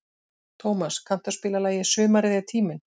Tómas, kanntu að spila lagið „Sumarið er tíminn“?